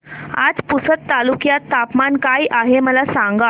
आज पुसद तालुक्यात तापमान काय आहे मला सांगा